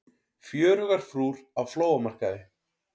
Fjörugar frúr á flóamarkaði